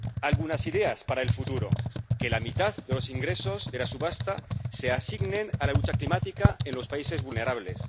Algunas ideas para el futuro que la mitad de los ingresos de la subasta se asignen a la lucha climática en los países vulnerables